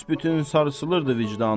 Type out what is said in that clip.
Büsbütün sarsılırdı vicdanın.